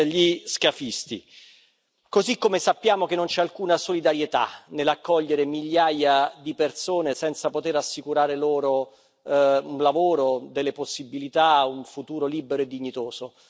gli scafisti, così come sappiamo che non c'è alcuna solidarietà nell'accogliere migliaia di persone senza poter assicurare loro un lavoro, delle possibilità, un futuro libero e dignitoso.